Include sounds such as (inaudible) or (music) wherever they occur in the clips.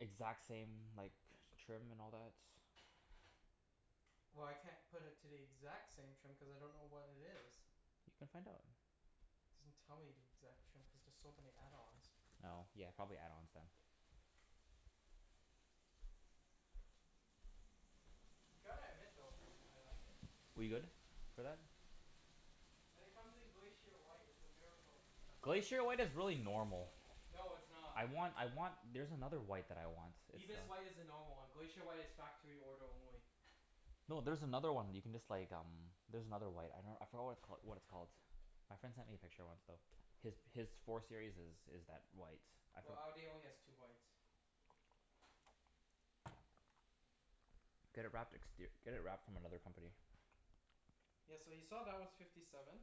Exact same, like, trim and all that? Well, I can't put it to the exact same trim cuz I don't know what it is. You can find out. It doesn't tell me the exact trim cuz there's so many add-ons. Oh, yeah, probably add-ons then. Gotta admit though, I like it. We good for that? And it comes in Glacier White. It's a miracle. Glacier White is really normal. No, it's not. I want I want, there's another white that I want. It's Ibis White uh is the normal one. Glacier White is factory order only. No, there's another one that you can just like, um there's another white. I dunno, I forgot what it cal- what it's called. My friend sent me a picture once, though. His his four series is is that white. I Well, for- Audi only has two whites. (noise) Get a wrapped exter- get it wrapped from another company. Yeah, so you saw that was fifty seven.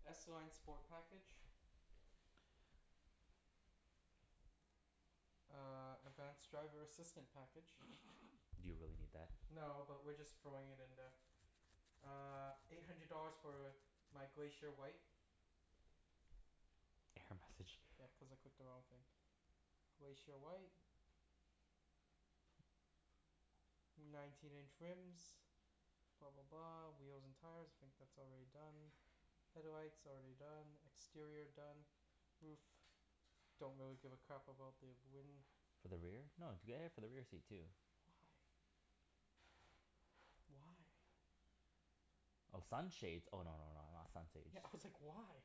S Line Sport Package. Uh, advanced driver assistant (laughs) package. Do you really need that? No, but we're just throwing it in there. Uh, eight hundred dollars for my Glacier White. Error message. Yeah, cuz I clicked the wrong thing. Glacier White. Nineteen inch rims. Blah blah blah. Wheels and tires. I think that's already done. Headlights, already done. Exterior done. Roof. Don't really give a crap about the win- For the rear? No, get air for the rear seat, too. Why? Why? Oh, sun shades? Oh, no no no, not sun sage. Yeah, I was like, "Why?"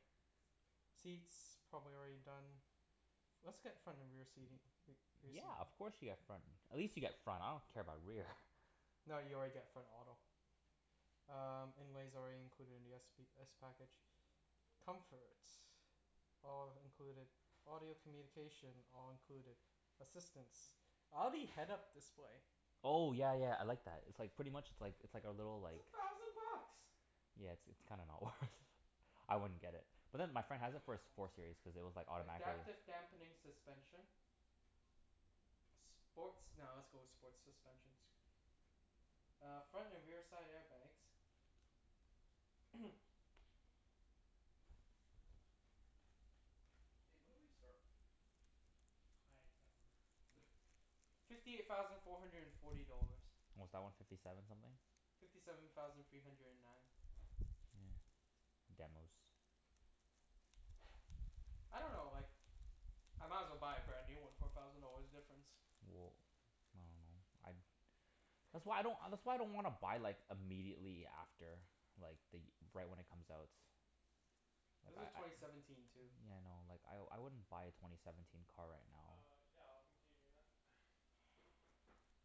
Seats, probably already done. Let's get front and rear seating. Re- reseat. Yeah, of course you get front. At least you get front. I don't care about rear. (noise) No, you already get front auto. Um, inlay's already included in the s p s package. Comfort. All included. Audio communication, all included. Assistance. Audi head up display? Oh, yeah yeah, I like that. It's like, pretty much it's like, it's like a little It's a like thousand bucks! Yeah, it's it's kinda not worth I wouldn't get it. But then my friend has it for his (noise) four Almost there. series, cuz it was Finally. Are you automatically gonna Adaptive unwrap the dampening rest of this? suspension. Sports, nah, let's go with sports suspension. Uh, front and rearside airbags. (noise) Hey, when did we start? I can't remember. (laughs) Fifty eight thousand four hundred and forty dollars. What was that one? Fifty seven something? Fifty seven thousand three hundred and nine. Yeah. Demos. I don't know, like, I might as well buy a brand new one for a thousand dollars difference. Well, I dunno. I'd That's why I don't, that's why I don't wanna buy like, immediately after like, the y- right when it comes out. This is Like, twenty I I seventeen, too. Yeah, I know. Like, I I wouldn't buy a twenty seventeen car right now. Uh, yeah. I'll continue doing that. (noise)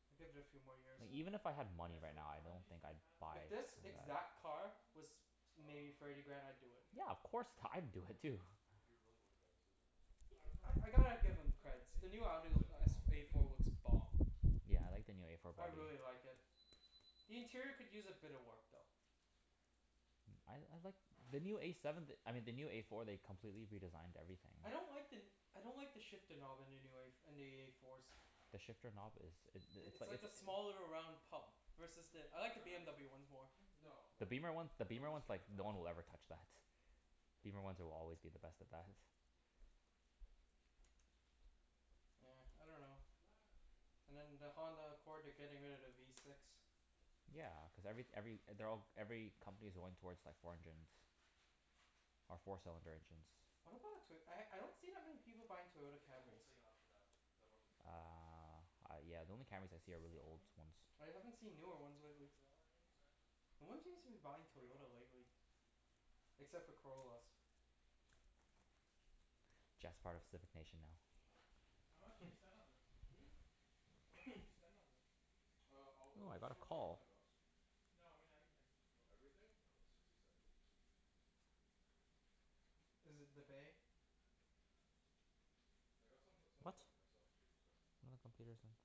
I'd give it a few more years. Like, even if (noise) I had Yeah, money so right now, I one of don't these think things I'd Mat said buy If wasn't this good to (inaudible) eat, exact for some car reason? was maybe thirty Um, grand? the I'd do it. Yeah, of porchetta? course. What's T- Well, I'd it do you wanna, it, too. if you If you're really worried about it, just leave it for now. Why, Eek- what's wrong I with I it? gotta I give them don't creds. think The new Audi there's l- anything wrong S with A it. (noise) four looks bomb. Yeah, I like the new A four I by really Audi. like it. The interior could use a bit of work, though. Mm, I I like the new A seven, I mean the new A four they completely redesigned everything. I don't like the n- I don't like the shifter knob in the new a for- in the A fours. The shifter knob is, it I- it's it's like a like a s- small little round pub. Is Versus it the, I beeping like cuz the I'm by the door? BMW ones more. Hmm? No, The no, beamer no. one, the Someone beamer just ones, came like, into the no house. one will ever touch that. Beamer ones will always be the best at that. Yeah. I dunno. And (noise) then the Honda Accord, they're getting rid of the V six. Yeah, cuz every every, they're all, every company's going towards like, four engines. Or four cylinder engines. What about a Toyo- I I don't Love see this that many stuff. Tu- people s- buying e- Toyota Take the whole Camrys. thing off of that. Cuz I love this stuff. Uh, I yeah, the only Camrys I It's see are just really old salami? ones. I haven't seen newer Mortadella. ones lately. Mortadella I mean, sorry. No one seems to be buying Bring it all Toyota out. lately. Except for Corollas. Jeff's part of civic nation now. How much did you (laughs) spend on this? Hmm? How much did you (noise) spend on this? Uh, all Oh, those? I Just got a about call. ten bucks. No, I mean everything. Oh, everything? I dunno. Sixty, seventy? Is it the bay? I got some o- some of the What? stuff for myself, too, so (inaudible)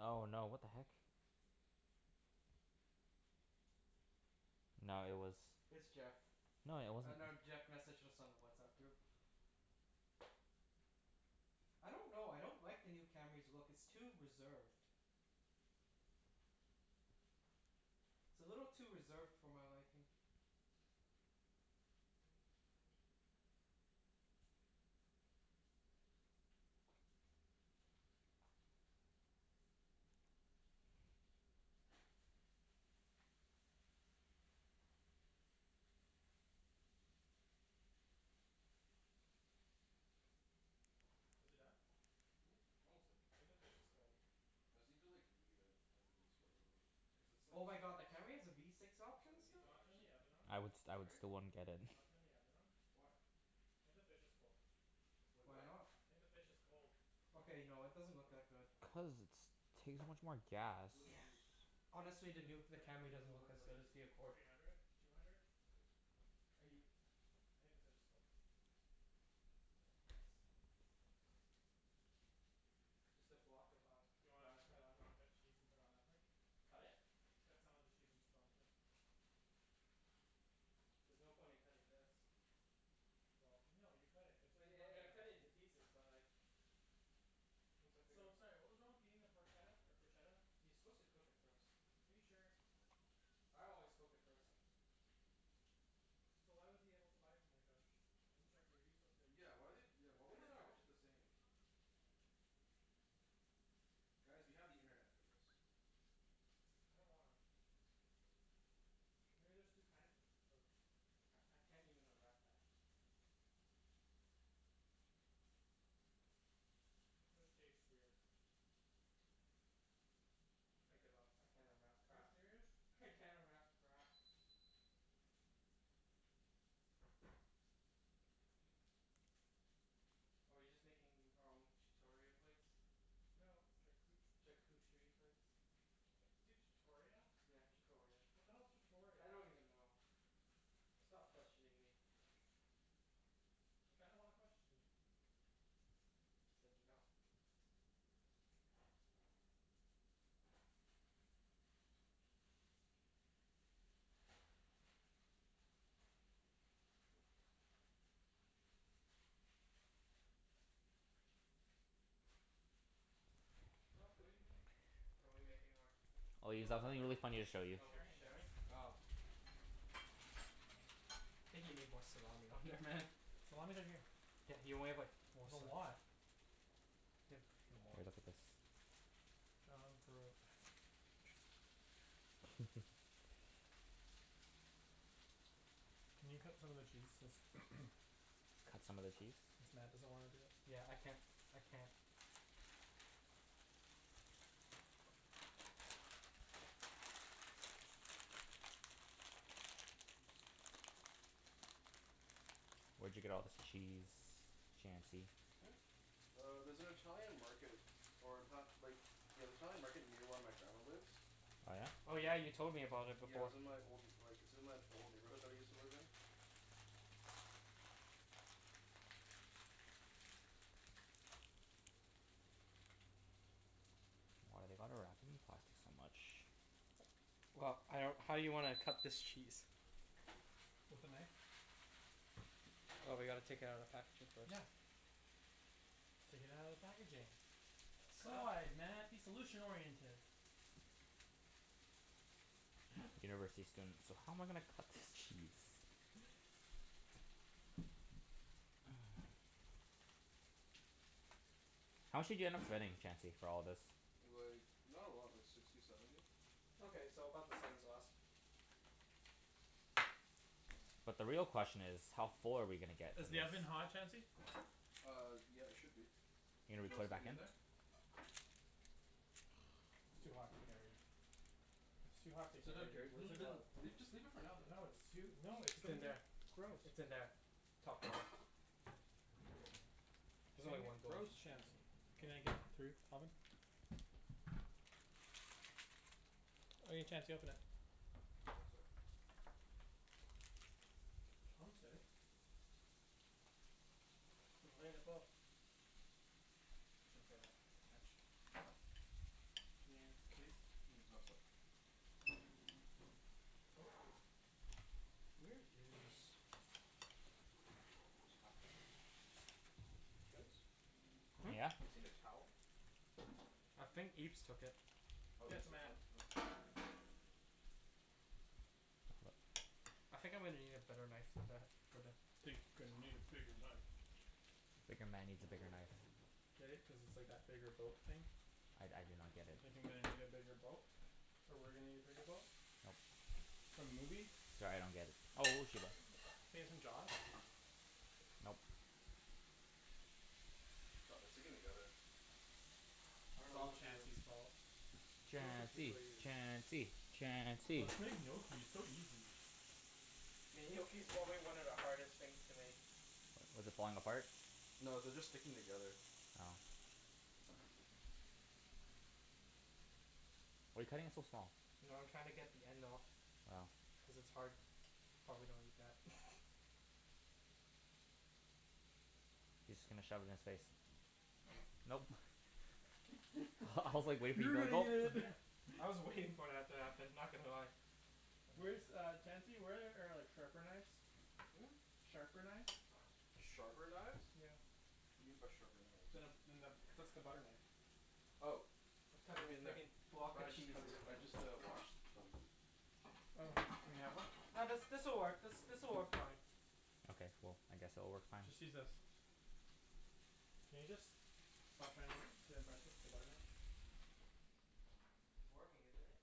Oh, no, what the heck? No, it was It's Jeff. No, it Uh wasn't no, Jeff messaged us on the WhatsApp group. I don't know. I don't like the new Camry's look. It's too reserved. It's a little too reserved for my liking. Is it done? Hmm? Almost there. I think the fish is cold. I just need to like, leave it as it is for a little bit. Cuz it's like, Oh my god, starting the to Camry stick. has a V six So I option Do need you still? to wanna turn the actually oven on? I would st- I would, Sorry? still wouldn't get it. Do (noise) you wanna turn the oven on? Why? I think the fish is cold. Wait, Why what? not? I think the fish is cold. Okay, no, it doesn't look Oh. that good. Okay, hold on. Cuz it's takes so much more gas. To what Yeah. degree? (noise) Honestly, the new, the Sorry? Camry doesn't To look what, as like, good as the degree? Accord. Three hundred. Two hundred? Okay. Are you I think the fish is cold. Nice. Just a block of a- Do you want me Grana to cut, Padano. want me to cut cheese and put it on that plate? Cut it? Cut some of the cheese and just put it on the plate. There's no point in cutting this. Well no, you cut it. Cuz you Well ye- e- cut it can't (inaudible) a into piece. pieces, but like once I figure So, out sorry what was wrong with eating the Porchetta, or Proshetta? You're supposed to cook it first. Are you sure? I always cook it first. So why was he able to buy it from like, a sh- isn't charcuterie supposed to be Yeah, why like they, eaten why I would don't they know. (inaudible) package it the same? Guys, we have the internet for this. I don't wanna. Cuz maybe there's two kinds of of C- I can't even unwrap that. This tastes weird. I give up. I can't unwrap Are you crap. serious? I can't unwrap crap. Are we just making our own chutoria plates? No, charcu- Charcucherie plates? Say chutoria? Yeah, chutoria. What the hell's chutoria? I don't even know. Stop questioning me. I kinda wanna question you. I said no. No, what are you doing? Are we making our Oh, No, we're Ibs, I not have something making our really own funny to plates. show you. We're Oh, we'll be sharing sharing? this. Oh. I think you need more salami on there, man. Salami's right here. Yeah, you only have like, four There's a sli- lot. Better put a few more. Here, look at this. John (inaudible) (laughs) Can you cut some of the cheese so s- (noise) Cut some of the cheese? since Mat doesn't wanna do it. Yeah, I can't, I can't. Where'd you get all this cheese, Chancey? Hmm? Uh, there's an Italian market or in ta- like Yeah, the Italian market near where my grandma lives. Oh yeah? Oh yeah, you An- told me about it Yeah, it before. was in my old like, it's in my, the old neighborhood that I used to live in. Why do they gotta wrap it in plastic so much? Well, I don't, how you wanna cut this cheese? With a knife. Oh, we gotta take it outta the packaging first. Yeah. Take it outta the packaging. Sa- God, Mat, be solution oriented. (laughs) University students. So how am I gonna cut this cheese? (laughs) (noise) How much did you end up spending, Chancey, for all of this? Like, not a lot. Like, sixty, seventy. Okay, so about the same as last. But the real question is how full are we gonna get from Is the oven this? hot, Chancey? Uh, yeah, it should be. Are you Did gonna you re- wanna put it stick back it in in? there? It's too hot to carry. It's too hot to So don't care, carry. Where's n- the th- n- glove? Leave, just leave it for now, No, then. it's too, no, it's It's in there. (inaudible) I- Gross. it's in there. Top drawer. It's There's only gonna one get glove. gross, Chancey. Can I get through? Oven. All right, Chancey, open it. One sec. Chancey. (inaudible) I shouldn't say that. French. Can you, please? Mm? Oh, sor- Ooh. Where is a towel? Guys? Hmm? Yeah? Seen a towel? I think Ibs took it. Oh, Yeah, it's Ibs in my hand. (inaudible) Oh, thank you. (inaudible) I think I'm gonna need a better knife than that for the Think I need a bigger knife. Bigger man needs a bigger knife. Get it? Cuz it's like that bigger boat thing? I I do not get it. Thinking that I need a bigger boat. Or we're gonna need a bigger boat. Nope. For movies. Sorry, I don't get it. Oh (inaudible) (inaudible) Nope. God, they're sticking together. I don't It's know all what to do. Chancey's fault. Chancey! (inaudible) Chancey! Chancey! Let's make gnocchi. It's so easy. Mean gnocchi's probably one of the hardest things to make. What, is it falling apart? No, they're just sticking together. Oh. Why are you cutting it so small? No, I'm trying to get the end off. Oh. Cuz it's hard. Probably don't eat that. (laughs) He's just gonna shove it in his face. Nope. (laughs) I I was like, waiting for you to go gulp. (inaudible) I was waiting for that to happen. Not gonna lie. Where's Uh. uh, Chancey? Where are like sharper knives? Hmm? Sharper knives? Sharper knives? Yeah. What do you mean by sharper knives? Then a, than the, just a butter knife. Oh. I'm They'll cutting a be in there. fricking block But of I just cheese. cuts, I just uh washed them. Oh, in the oven? No, this this'll work, this this'll work fine. Okay, cool. I guess it'll work fine. Just use this. Can you just stop trying to impress us with a butter knife? It's working, isn't it?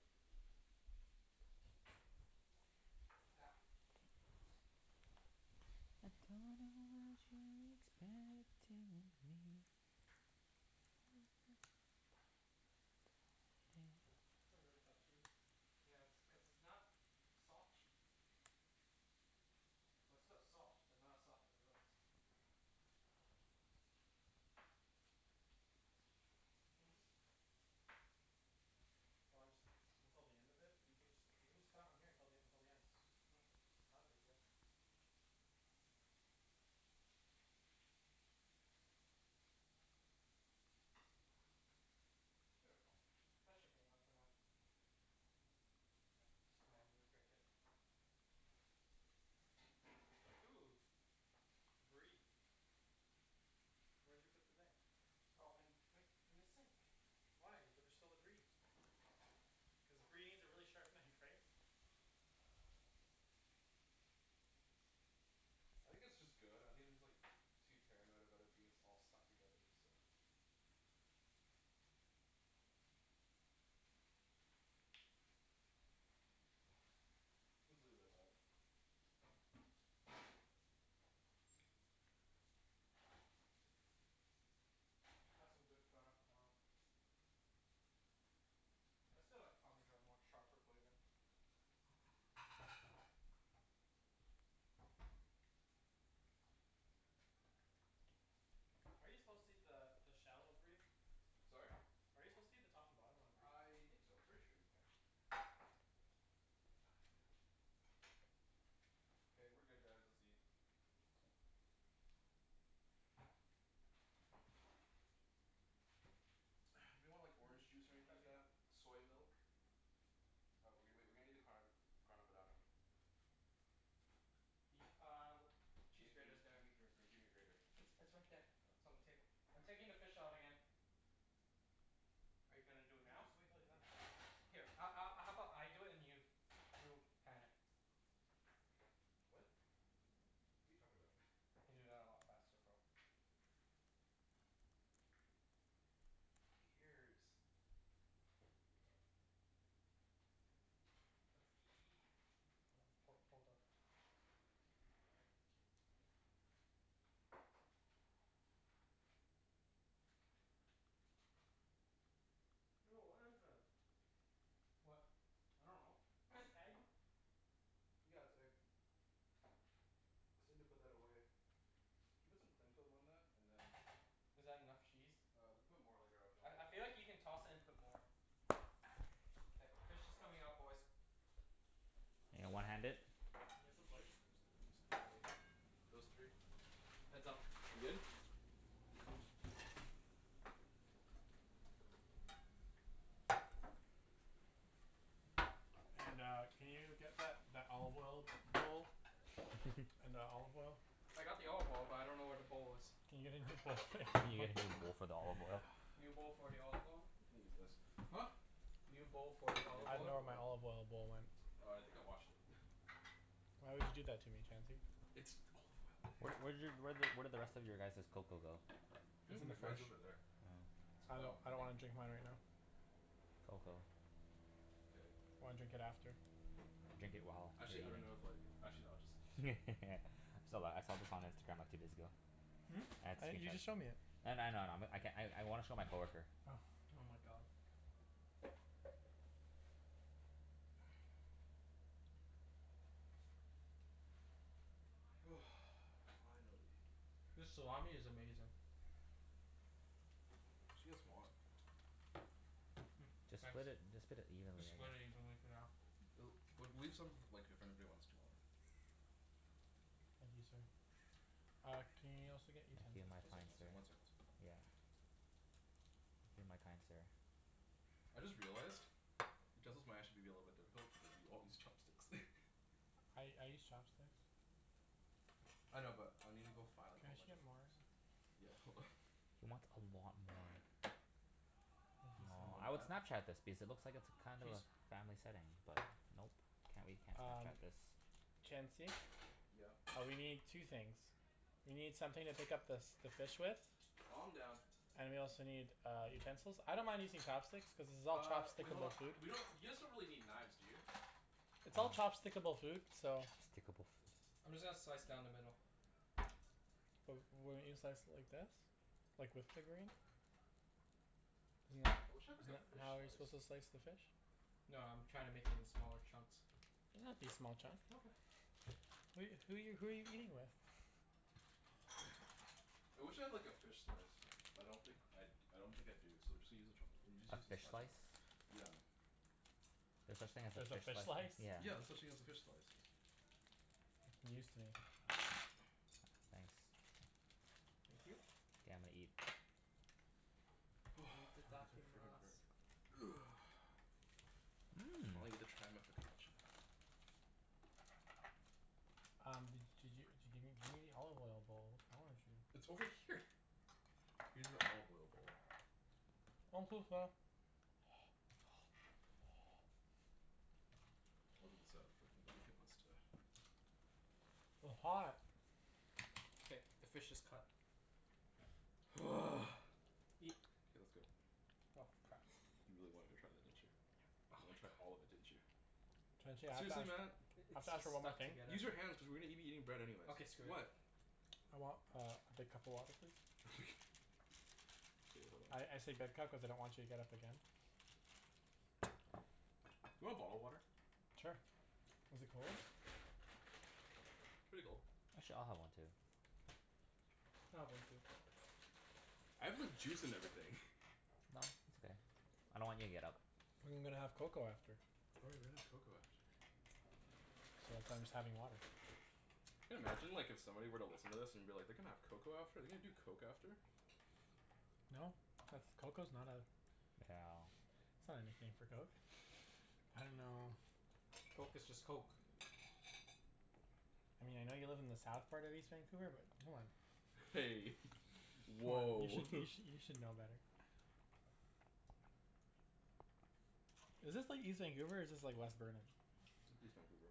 (noise) I don't know what you expect to me. (noise) That's a really tough cheese. Yeah, it's cuz it's not soft cheese. Well, it's still soft, but not as soft as those. You can just (inaudible) Why don't just until the end of it? You can jus- you can just cut it on here till the until the end. Okay. Not a big deal. There we go. That should be enough for now. Yeah, just Just manually manually break break it. it. Ooh. Brie. Where'd you put the knife? Oh in, right in the sink. Why? But there's still the brie. Cuz brie needs a really sharp knife, right? I think it's just good. I think I'm just like too paranoid about it being s- all stuck together, so Let's leave it at that. (noise) That's some good Grana Padano. (noise) I still like parmesan more. Sharper flavor. Are you supposed to eat the the shell of brie? Sorry? Are you supposed to eat the top and bottom on the brie? I think so. I'm pretty sure you can. Ah, god. (noise) K, we're good guys. Let's eat. (noise) Anyone want like orange juice or anything like Chancey. that? Soy milk? Uh, w- w- wait. We're gonna need the card Grana Padano. Eat uh, cheese Gimme gimme grater's g- there. gimme gr- gr gimme your grater. It's it's right there. It's Oh. on the table. I'm taking the (inaudible) fish out again. Are you You gonna can do it now? just wait until he's done. Here a- a- how (inaudible) about I do it and you you pan it? What? What are you talking about? (laughs) I can do that a lot faster, bro. Fucking ears. Let's eat. (noise) Hold on. Ho- hold up. Ew, what is this? What? I dunno. This (noise) egg? Yeah, it's egg. Just need to put that away. Can you put some cling film on that? And then Is that enough cheese? Uh, we can put more later af- you want, I if I you feel want. like you can toss it and put more. Yeah. K, fish is coming out, boys. You gonna one hand it? Can I get some K, plates? use these three. Those three. Heads up. We good? And uh, can you get that that olive oil bowl? (laughs) And the olive oil? I got the olive oil, but I don't know where the bowl is. Can you get a new bowl for me? Can you get a new bowl for the olive oil? (noise) New bowl for the olive oil? You can use this. Huh? New bowl for the You need olive I a bowl dunno oil. where for the my olive oil. olive oil bowl went. Oh, I think I washed it. (laughs) Why would you do that to me, Chancey? It's olive oil, Wh- where okay? did y- where did where did the rest of your guys's cocoa go? Hmm? It's It's in in the the fridge. Mine's fridge. over there. Oh. I Oh, lik- I I don't think wanna drink mine right now. Cocoa. K. I wanna drink it after. Drink it while you're Actually I don't know if eating. like, actually no, I'll just (laughs) serve I it. saw th- I saw this on Instagram like, two days ago. Hmm? I- you just showed me (inaudible) it. I kn- I know, I know. I'm I can- I I wanna show my coworker. Oh. Oh my god. (noise) (noise) Finally. This salami is amazing. We should get some more. (noise) Mm, Just thanks. split it, just put it evenly Just split it I guess. evenly for now. L- well, leave some like, if anybody wants to more. Thank you, sir. Uh, can y- you also Thank get you, utensils, my One please? fine second, one sir. second, one second. Yeah. (noise) Thank you, my kind sir. I just realized utensils might actually be a little bit difficult because we all use chopsticks. (laughs) I I use chopsticks. I know, but I need to go find Can like a I whole actually bunch of get more? forks. Yeah, hold on. He wants a lot more. Thank you, sir. Aw, I would (inaudible) Snapchat this because it looks like it's kind of a Cheese? family setting, but nope. Can't we can't Um Snapchat this. Chancey? Yeah? Uh, we need two things. We need something to pick up the s- the fish with. Calm down. And we also need, uh, utensils. I don't mind using chopsticks cuz this is all Uh, wait, hold chopstick-able on. food. We don't, you guys don't really need knives, do you? It's all (noise) chopstick-able food, so Chopstickable food. I'm just gonna slice down the middle. W- wouldn't you slice it like this? Like, with the grain? Isn't I that wish I had like isn't a that fish how you're supposed slice. to slice the fish? No, I'm trying to make it into smaller chunks. They don't have to be small chunk. Okay. Who who are you who are you who are you eating with? (laughs) (laughs) I wish I had like a fish slice. But I don't think I d- I don't think I do, so just use a chopst- just A use a fish spatula. slice? Yeah. There's such thing as a There's a fish fish slice? slice? Yeah. Yeah, there's such thing as a fish slice. News to me. Ah, thanks. Thank you. Yeah, I'm gonna eat. (noise) (inaudible) (inaudible) (noise) Finally Mmm. get to try my focaccia. Um, d- did you d- give me gimme the olive oil bowl? Wrong with you? It's over here. Use an olive oil bowl. (inaudible) I'll leave this out for anybody who wants to W- hot. K, the fish is cut. (noise) (noise) (noise) Eat. K, let's go. Oh f- crap. You really wanted to try that, didn't you? Yep. Oh You my wanted to try all god. of it, didn't you? (noise) (noise) Chancey, I have to Seriously Mat? ask I- I have it's to ask just for one more stuck thing. together. Use your hands cuz we're gonna be eating bread anyways. Okay, screw it. What? I want uh, a big cup of water, please? (laughs) Okay, hold I I on. say big cup cuz I don't want you to get up again. You want bottled water? (noise) Sure. Is it cold? Pretty cold. Actually, I'll have one too. (noise) I'll have one too. I have like juice and everything. (laughs) No, it's okay. I don't want you to get up. I'm gonna have cocoa after. Oh right, we're gonna have cocoa after. So that's why I'm just having water. Can imagine like, if somebody were to listen to this, and be like, "They're gonna have cocoa after? They're gonna do coke after?" No. That's cocoa's not a Yeah. that's not anything for coke. (noise) I dunno (laughs) Coke is just coke. Hey. (laughs) You Woah! should you (laughs) sh- you should know better. (noise) Is this like, east Vancouver, or is this like, west Burnaby? East Vancouver.